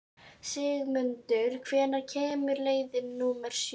Sigmundur, hvenær kemur leið númer sjö?